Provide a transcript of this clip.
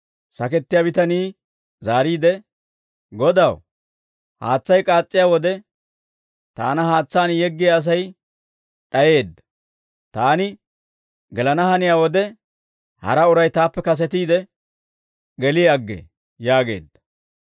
Sakettiyaa bitanii zaariide, «Godaw, haatsay k'aas's'iyaa wode, taana haatsaan yeggiyaa Asay d'ayeedda; taani gelana haniyaa wode, hara uray taappe kasetiide geli aggee» yaageedda.